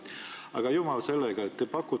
Aga jumal sellega!